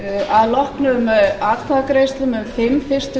að loknum atkvæðagreiðslum um fimm fyrstu